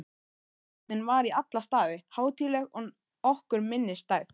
Athöfnin var í alla staði hátíðleg og okkur minnisstæð.